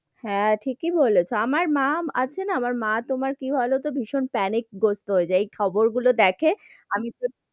হাঁ, ঠিকি বলেছো, আমার মা আছে না, আমার মা, তোমার কি বোলো তো ভীষণ panic করতো যে এই খবর গুলো দেখে, আমি তো,